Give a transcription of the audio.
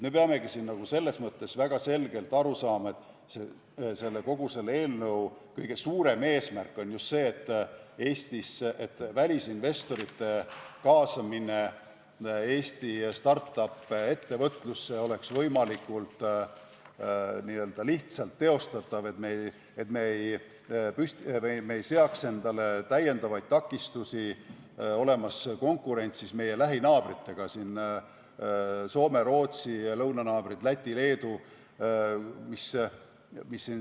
Me peamegi väga selgelt aru saama, et selle eelnõu kõige suurem eesmärk on just see, et välisinvestorite kaasamine Eesti start-up-ettevõtlusse oleks võimalikult lihtsalt teostatav, et me ei seaks endale täiendavaid takistusi, olles konkurentsis meie lähinaabritega, Soome, Rootsi ja lõunanaabrite Läti ja Leeduga.